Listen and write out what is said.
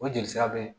O jelisira bɛ